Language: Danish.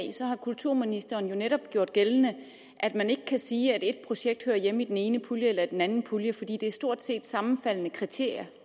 har kulturministeren jo netop gjort gældende at man ikke kan sige at et projekt hører hjemme i den ene pulje eller i den anden pulje for det er stort set sammenfaldende kriterier